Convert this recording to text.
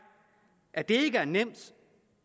at det ikke er nemt